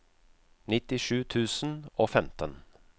nittisju tusen og femten